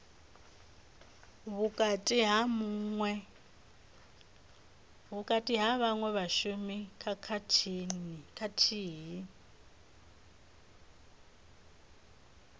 vhukati ha vhaṅwe vhashumi khathihi